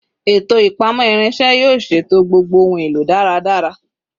Eto ipamọ irinṣẹ yoo ṣeto gbogbo ohun elo daradara